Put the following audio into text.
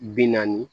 Bi naani